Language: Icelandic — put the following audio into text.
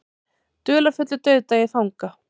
Dularfullur dauðdagi fanga